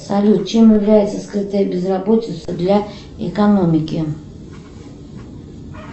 салют чем является скрытая безработица для экономики